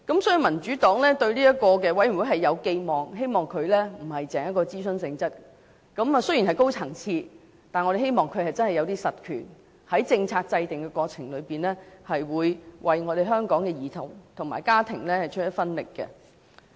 所以，民主黨對這個委員會有寄望，希望不單是屬諮詢性質，而雖然會是一個高層次的委員會，但我們希望它真的有一些實權，在政策制訂的過程中，會為香港的兒童和家庭出一分力。